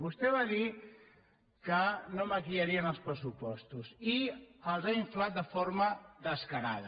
vostè va dir que no maquillarien els pressupostos i els ha inflat de forma descarada